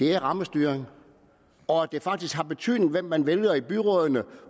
er rammestyring og at det faktisk har betydning hvem man vælger til byrådene